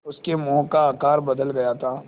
उसके मुँह का आकार बदल गया था